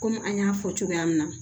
Kɔmi an y'a fɔ cogoya min na